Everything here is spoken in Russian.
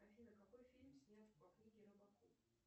афина какой фильм снят по книге робокоп